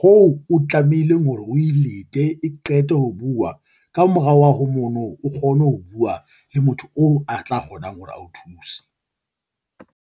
hoo o tlamehileng hore o e lete e qete ho bua ka morao wa ho mono, o kgone ho bua le motho oo a tla kgonang hore a o thuse.